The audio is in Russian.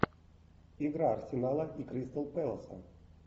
игра арсенала и кристал пэласа